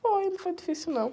Foi, não foi difícil não.